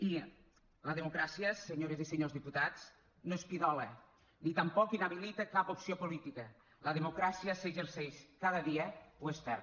i la democràcia senyores i senyors diputats no és pidola ni tampoc inhabilita cap opció política la democràcia s’exerceix cada dia o es perd